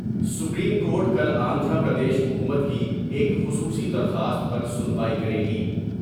Supreme court کل آندھرا پردیش حکومت کی ایک خصوصی درخواست پر سنوائی کرے گی ۔